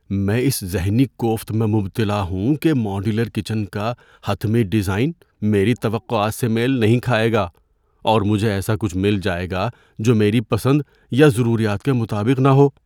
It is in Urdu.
میں اس ذہنی کوفت میں مبتلا ہوں کہ ماڈیولر کچن کا حتمی ڈیزائن میری توقعات سے میل نہیں کھائے گا، اور مجھے ایسا کچھ مل جائے گا جو میری پسند یا ضروریات کے مطابق نہ ہو۔